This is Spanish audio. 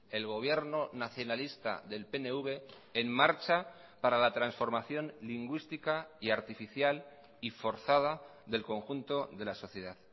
el gobierno nacionalista del pnv en marcha para la transformación lingüística y artificial y forzada del conjunto de la sociedad